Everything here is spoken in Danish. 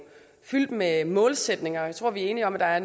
fyldt med målsætninger og jeg tror vi er enige om at der er